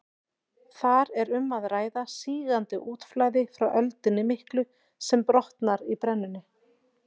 Þar er um að ræða sígandi útflæði frá öldunni miklu sem brotnar í brennunni.